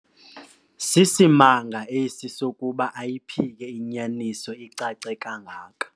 Sisimanga esi sokuba ayiphike inyaniso icace kangaka.